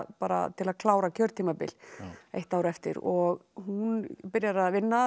bara til að klára kjörtímabil eitt ár eftir og hún byrjar að vinna